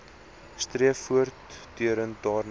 streef voortdurend daarna